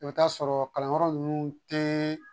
I bɛ t'a sɔrɔ kalanyɔrɔ ninnu tɛ